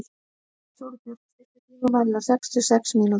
Sólbjört, stilltu tímamælinn á sextíu og sex mínútur.